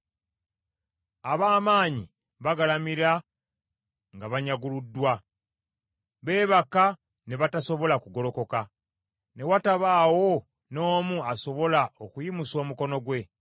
Ab’amaanyi bagalamira nga banyaguluddwa, beebaka ne batasobola kugolokoka, ne watabaawo n’omu asobola okuyimusa omukono gwe.